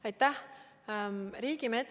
Aitäh!